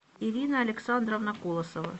ирина александровна колосова